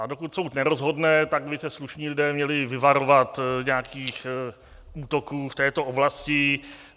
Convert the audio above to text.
A dokud soud nerozhodne, tak by se slušní lidé měli vyvarovat nějakých útoků v této oblasti.